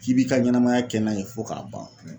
K'i b'i ka ɲɛnɛmaya kɛ n'a ye fɔ k'a ban